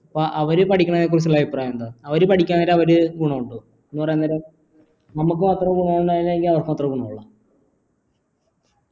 അപ്പ അവര് പഠിക്കണതിനെ കുറിച്ചുള്ള അഭിപ്രായം എന്താ അവര് പഠിക്ക അവര് ഗുണോ ഇണ്ടോ എന്ന് പറയുന്നരം നമ്മക്ക് മാത്രാണോ ഗുണോ ഇള്ളോ അല്ലെങ്കി അവർക്കു മാത്രാ ഗുണോ ഇള്ളോ